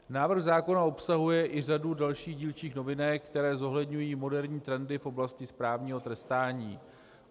Návrh zákona obsahuje i řadu dalších dílčích novinek, které zohledňují moderní trendy v oblasti správního trestání.